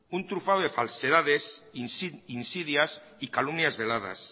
un trufado de falsedades insidias y calumnias vedadas